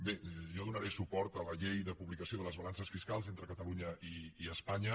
bé jo donaré suport a la llei de publicació de les balances fiscals entre catalunya i espanya